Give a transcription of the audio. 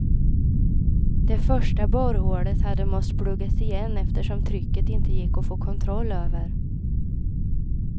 Det första borrhålet hade måst pluggas igen eftersom trycket inte gick att få kontroll över.